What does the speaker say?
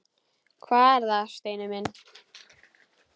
Hvað er það, Steini minn?